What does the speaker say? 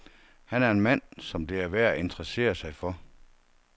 Han er en mand, som det er værd at interessere sig for.